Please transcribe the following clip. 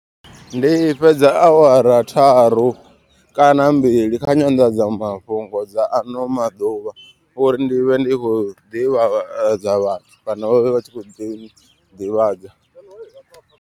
Ndi fhedza awara tharu kana mbili kha nyandadzamafhungo dza ano maḓuvha. Uri ndi vhe ndi khou ḓivhadza vhathu kana vha vhe vha tshi kho ḓi ḓivhadza.